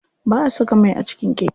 Ba'a saka mai a cikin keke.